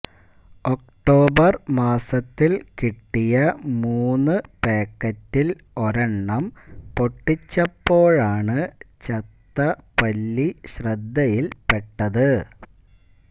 October മാസത്തിൽ കിട്ടിയ മൂന്ന് പയ്ക്കറ്റിൽ ഒരെണ്ണം പൊട്ടിച്ചപ്പോഴാണ് ചത്ത പല്ലി ശ്രദ്ധയിൽപ്പെട്ടത്